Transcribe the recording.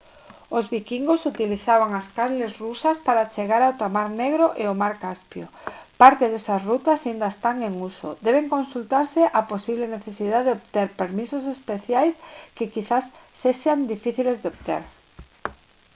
os viquingos utilizaban as canles rusas para chegar ata mar negro e o mar caspio parte desas rutas aínda están en uso debe consultarse a posible necesidade de obter permisos especiais que quizais sexan difíciles de obter